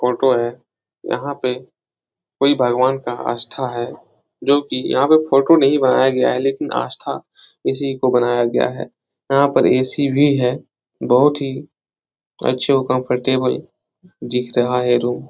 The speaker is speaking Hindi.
ऑटो है यहाँ पे कोई भगवान का आस्था है जो की यहाँ पे फोटो नहीं बनाया गया है लेकिन आस्था इसी को बनाया गया है यहाँ पे ए.सी. भी है बहुत ही अच्छे और कम्फर्टेबल दिख रहा है रूम ।